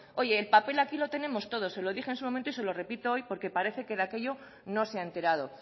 oye el papel aquí lo tenemos todos se lo dije en su momento y se lo repito hoy porque parece que de aquello no se ha enterado